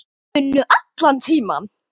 unum allan tímann.